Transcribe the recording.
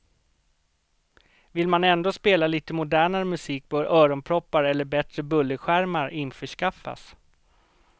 Vill man ändå spela lite modernare musik bör öronproppar eller bättre bullerskärmar införskaffas.